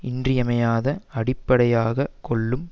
இன்றியமையாத அடிப்படையாக கொள்ளும்